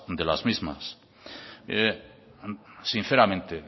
de las mismas mire sinceramente